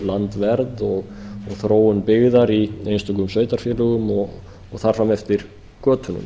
landvernd og þróun byggðar í einstökum sveitarfélögum og þar fram eftir götunum